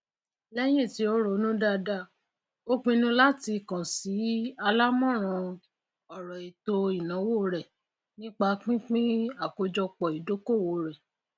lẹyìn tí o rònú daada ó pinu láti kàn sí álámọràn ọrọ ètò ìnáwó rẹ nipa pínpín àkójọpọ ìdókòwò rẹ